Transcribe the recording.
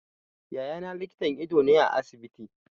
Yaya na likitan ido ne a asibiti.